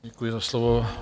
Děkuji za slovo.